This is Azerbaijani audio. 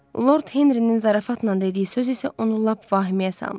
Lord Henrinin zarafatla dediyi söz isə onu lap vəhiməyə salmışdı.